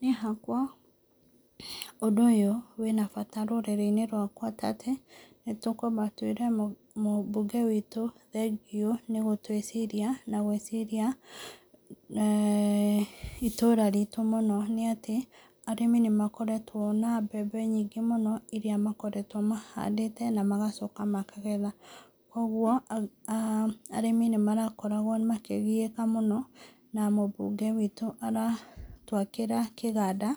Niĩ hakwa, ũndũ ũyũ wĩ na bata rũrĩrĩ-inĩ rwakwa, ta atĩ, nĩtũkwamba twĩre mũbũnge witũ thengio nĩgũtwĩciria na ngwĩciria eeh itũra ritũ mũno nĩ atĩ, arĩmi nĩmakoretwo na mbembe nyingĩ mũno, irĩa makoretwo mahandĩte na magacoka makagetha, kũgwo aah arĩmi nĩ marakoragwo makĩgiĩka mũno, na mũbũnge witũ aratwakĩra kĩganda